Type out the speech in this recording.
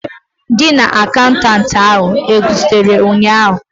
Gị na akaụntanti ahu ezutere ụnyaahụ?